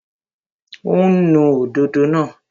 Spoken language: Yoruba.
Ó ń nu òdòdó náà